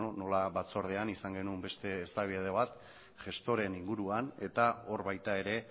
nola batzordean izan genuen beste eztabaida bat gestoreen inguruan eta hor baita ere